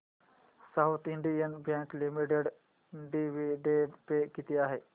south Indian bank limited dividend pay किती आहे